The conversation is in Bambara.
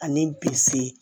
Ani bilisi